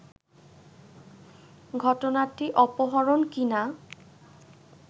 ঘটনাটি অপরহণ কি-না